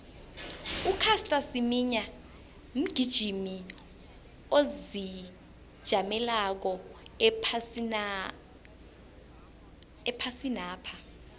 ucaster semenya mgijimi ozijameleko ephasinapha